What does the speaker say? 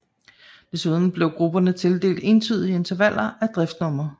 Desuden blev grupperne tildelt entydige intervaller af driftsnumre